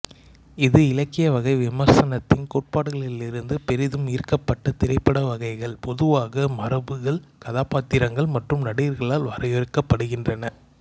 இது இலக்கிய வகை விமர்சனத்தின் கோட்பாடுகளிலிருந்து பெரிதும் ஈர்க்கப்பட்ட திரைப்பட வகைகள் பொதுவாக மரபுகள் கதாபாத்திரங்கள் மற்றும் நடிகர்களால் வரையறுக்கப்படுகின்றன